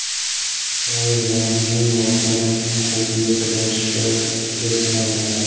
Shoir Volandning ortdan quvib yetib olishga besamar urinadi.